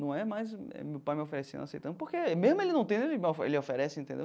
Não é mais meu pai me oferecendo, eu aceitando, porque mesmo ele não tendo, ele vai ele oferece, entendeu?